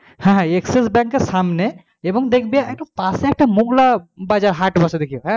হ্যাঁ হ্যাঁ axis bank এর সামনে এবং দেখবি একটা পাশেই একটা মগলায়ব বাজার হাত বসে দেখিও,